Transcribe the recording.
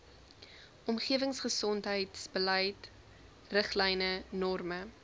omgewingsgesondheidsbeleid riglyne norme